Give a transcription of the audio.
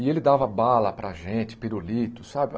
E ele dava bala para a gente, pirulito, sabe?